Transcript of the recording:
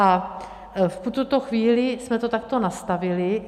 A v tuto chvíli jsme to takto nastavili.